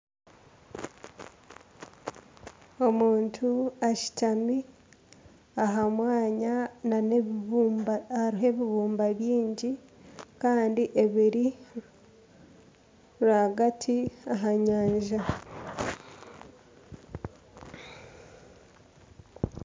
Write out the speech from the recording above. Omuntu ashutami aha mwanya nana ebibumba hariho ebibumba bingi kandi ebiri rwagati aha nyanja.